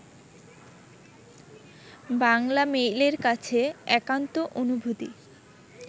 বাংলামেইলের কাছে একান্ত অনুভূতি